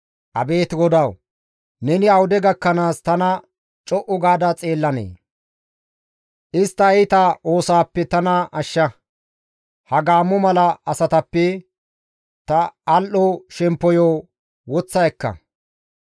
Abeet Godawu! Neni awude gakkanaas tana co7u gaada xeellanee? Istta iita oosaappe tana ashsha; ha gaammo mala asatappe ta al7o shemppoyo woththa ekka.